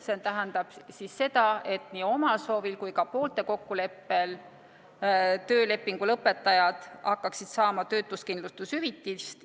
See tähendab seda, et nii omal soovil kui ka poolte kokkuleppel töölepingu lõpetajad hakkaksid saama töötuskindlustushüvitist.